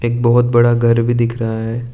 बोहत बड़ा घर भी दिख रहा है।